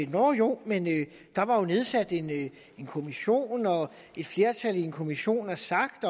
nåh jo men der var jo nedsat en kommission og et flertal i en kommission har sagt